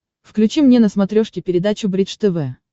включи мне на смотрешке передачу бридж тв